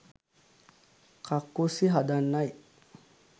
කක්කුස්සි හදන්නයි